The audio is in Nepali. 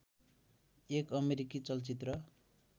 एक अमेरिकी चलचित्र